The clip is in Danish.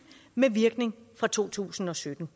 med virkning fra to tusind og sytten